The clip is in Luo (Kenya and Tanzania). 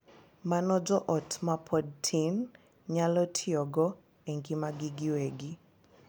Mano jo ot ma pod tin nyalo tiyogo e ngimagi giwegi.